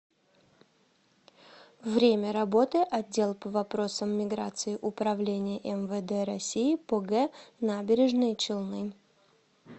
время работы отдел по вопросам миграции управления мвд россии по г набережные челны